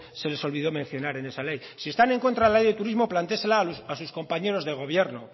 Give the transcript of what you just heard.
se les olvidó mencionar en esa ley si están en contra de la ley de turismo plantéesela a sus compañeros de gobierno